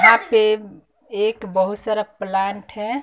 यहां पे एक बहोत सारा प्लांट है।